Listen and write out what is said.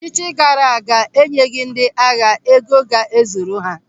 Ọchịchị gaara aga enyeghị ndị agha ego ga ezuru ha.